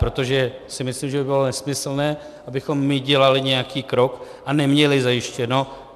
Protože si myslím, že by bylo nesmyslné, abychom my dělali nějaký krok a neměli zajištěno.